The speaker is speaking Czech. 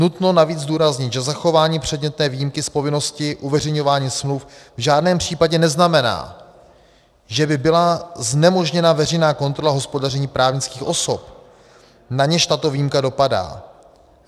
Nutno navíc zdůraznit, že zachování předmětné výjimky z povinnosti uveřejňování smluv v žádném případě neznamená, že by byla znemožněna veřejná kontrola hospodaření právnických osob, na něž tato výjimka dopadá.